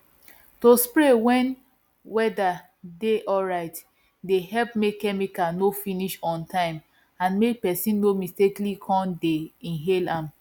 to spray when whether dey alright dey help make chemical no finish ontime and make person no mistakenly come dey inhale am